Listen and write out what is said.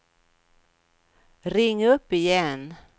ring upp igen